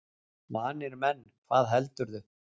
Vanir menn, hvað heldurðu!